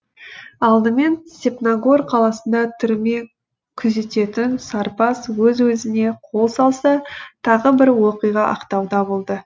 алдымен степногор қаласында түрме күзететін сарбаз өз өзіне қол салса тағы бір оқиға ақтауда болды